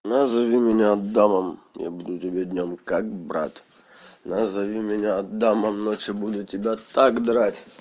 назови меня адамом я буду тебе днём как брат назови меня адамом ночью буду тебя так драть